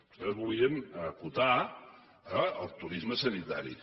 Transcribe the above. vostès volien acotar el turisme sanitari